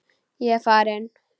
Ég er farinn.